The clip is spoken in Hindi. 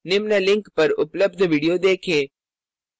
निम्न link पर उपलब्ध video देखें